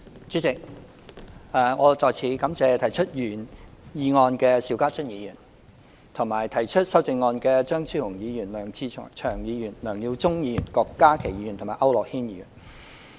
主席，我再次感謝提出原議案的邵家臻議員，以及提出修正案的張超雄議員、梁志祥議員、梁耀忠議員、郭家麒議員和區諾軒議員。